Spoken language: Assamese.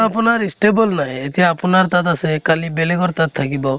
আপোনাৰ stable নাই এতিয়া আপোনাৰ তাত আছে কালি বেলেগৰ তাত থাকিব